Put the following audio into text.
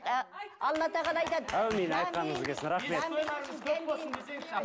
а алла тағала айтады әумин айтқаныңыз келсін рахмет